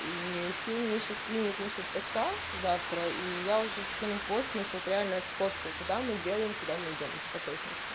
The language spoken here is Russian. и филл мне ещё скинет на счёт поста завтра и я уже скину пост на счёт реальную сходку куда мы делаем куда мы идём уже по точности